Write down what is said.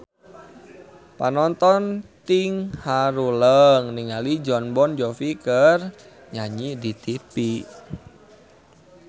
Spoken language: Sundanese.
Panonton ting haruleng ningali Jon Bon Jovi keur nyanyi di tipi